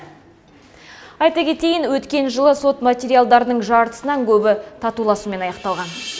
айта кетейін өткен сот материалдарының жартысынан көбі татуласумен аяқталған